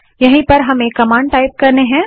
यहीं पर हमें कमांड टाइप करनी है